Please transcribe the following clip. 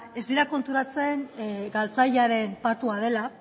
ez dira konturatzen galtzailearen patua dela